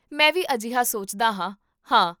ਮੈਂ ਵੀ ਅਜਿਹਾ ਸੋਚਦਾ ਹਾਂ, ਹਾਂ